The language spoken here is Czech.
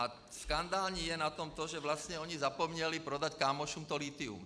A skandální je na tom to, že vlastně oni zapomněli prodat kámošům to lithium.